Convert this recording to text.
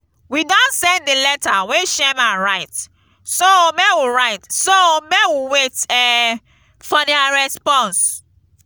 we don send the letter wey chairman write so make write so make we wait um for their response